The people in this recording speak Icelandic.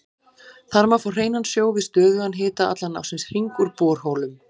Þar má fá hreinan sjó við stöðugan hita allan ársins hring úr borholum.